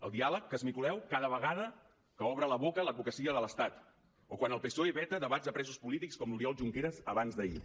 el diàleg que esmicoleu cada vegada que obre la boca l’advocacia de l’estat o quan el psoe veta debats a presos polítics com l’oriol junqueras abans d’ahir